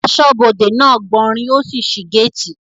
Asọ́bodè náà gbanrí ó sì sí gáàtì